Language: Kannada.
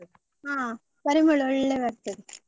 ಹ ಪರಿಮಳ ಒಳ್ಳೆ ಬರ್ತದೆ.